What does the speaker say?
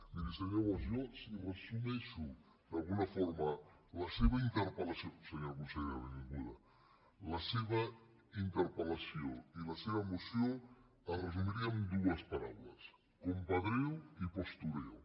miri senyor bosch jo si resumeixo d’alguna forma la seva interpel·lació senyora consellera benvinguda la seva interpellació i la seva moció es resumiria en dues paraules compadreo i postureo